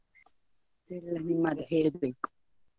ಮತ್ತೆ ಎಲ್ಲಾ ನಿಮ್ಮದೇ ಹೇಳ್ಬೇಕು.